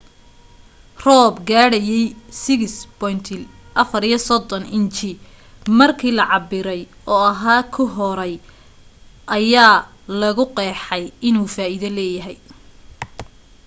roob gaadhayay 6.34 inji markii la cabbiray oo oahu ku hooray ayaa lagu qeexay inuu faaiido leeyahay